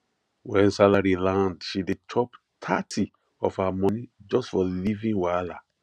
when salary land she dey chop thirty of her money just for living wahala